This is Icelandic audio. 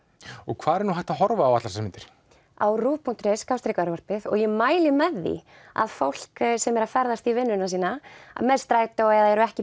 hvar er hægt að horfa á allar þessar myndir á ruv punktur is og ég mæli með því að fólk sem er að ferðast í vinnuna með strætó eða er ekki